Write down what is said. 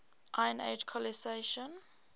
iron age colonisation